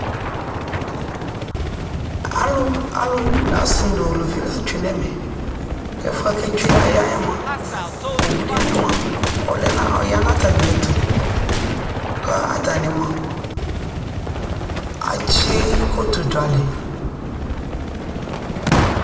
alʋ () la twɛnʋ ɛmɛ, ɛƒʋɛ kʋ ɛtwɛ ayaɛ mʋa ɔwʋ dibi ma ʋya nʋ atami ɛtʋ kʋ atani mʋa akyi kɔtɔ dʋ alɛ